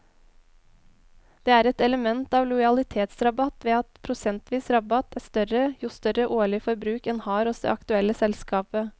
Det er et element av lojalitetsrabatt ved at prosentvis rabatt er større jo større årlig forbruk en har hos det aktuelle selskapet.